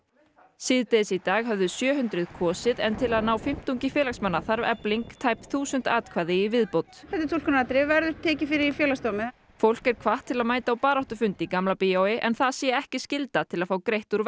síðdegis í dag höfðu sjö hundruð kosið en til að ná fimmtungi félagsmanna þarf Efling tæp þúsund atkvæði í viðbót þetta er túlkunaratriði og verður tekið fyrir í Félagsdómi fólk er hvatt til að mæta á baráttufund í Gamla bíói en það sé ekki skylda til að fá greitt úr